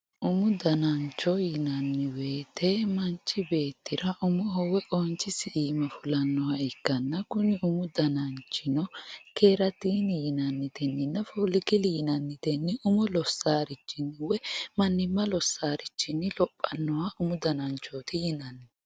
umu danancho yinanni woyiite manchi beettira umoho woy qoonchisi iima fulannoha ikkanna kuni umu dananchino keeratiiri yinannitenni dafuulikili yinannitenni umo lossannorichinni woy mannimma lossannorichinni lophannoha umu dananchooti yinanni